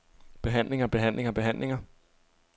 behandlinger behandlinger behandlinger